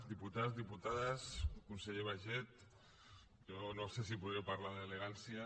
diputats diputades conseller baiget jo no sé si podré parlar amb elegància